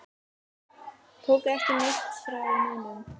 Tóku ekki neitt frá neinum.